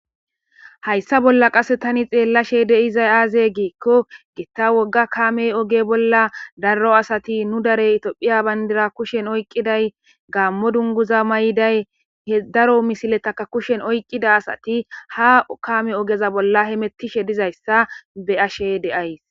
Hayssa bolla qasse tani xeellashe deizay aaze giikko gitta wogga kamey oge bolla daro asati nu darey itophiya bayndira kushen oyqqiday gaammo dunguza may7day he daro misiletaka kushen oyqqida asati ha kame ogeza bolla he mettishe dizayssa be ashe deays